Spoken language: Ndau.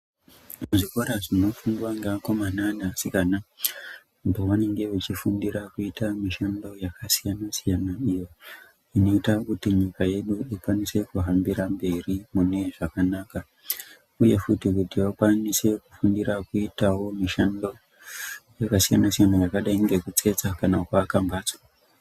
Zvikora zvinofundwa ngeakona neasikana pavanenge vachifundira kuita mishando yakasiyana siyana iyoo inoita kuti nyika yedu ikwanise kuhambira mberi mune zvakanaka uye futi kuti vakwanise kufundire kuite mishando yakasiyana siyana yakadai ngekutsetsa kana kuaka mbatso